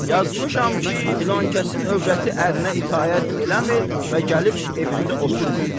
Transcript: Yazmışam ki, filankəsin övrəti ərinə itaət eləmir və gəlib evində otmur.